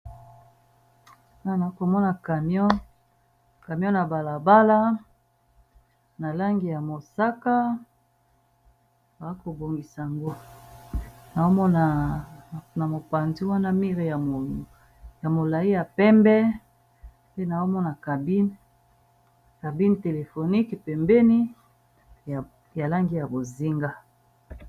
Awa na komona camion ya bala bala na langi ya mosaka, ba ko bongisa ango na mona na mopanzi wana mire ya molayi ya pembe pe nao mona cabine. Cabine telefonique pembeni, ya langi ya bozinga.